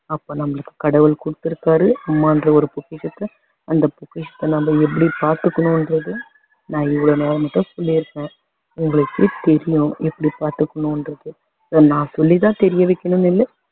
அப்போ நம்மளுக்கு கடவுள் கொடுத்திருக்காரு அம்மான்ற ஒரு பொக்கிஷத்தை அந்த பொக்கிஷத்தை நம்ம எப்படி பாத்துக்கணுன்றது நான் இவ்வளோ நேரம் சொல்லிருந்தேன் உங்களுக்கே தெரியும் எப்படி பாத்துக்கணுன்றது நான் சொல்லி தான் தெரிய வைக்கணுன்றது இல்ல